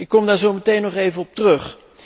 Ik kom daar zo meteen nog even op terug.